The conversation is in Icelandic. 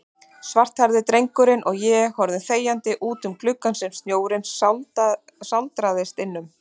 Svarthærði drengurinn og ég horfum þegjandi útum gluggann sem snjórinn sáldrast innum.